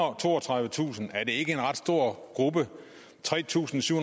og toogtredivetusind er det ikke en ret stor gruppe tre tusind syv